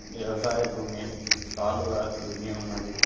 వ్యవసాయ భూమి సాలుగా దున్ని ఉన్నది.